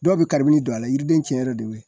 Dɔw bi don a la yiriden cɛn yɛrɛ de be yen